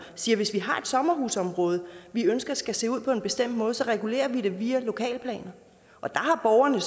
siger hvis vi har et sommerhusområde vi ønsker skal se ud på en bestemt måde så regulerer vi det via lokalplaner og der har borgerne